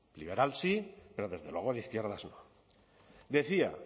liberal sí pero desde luego de izquierdas no decía